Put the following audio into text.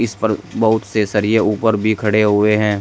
इस पर बहुत से सरिए ऊपर भी खड़े हुए हैं।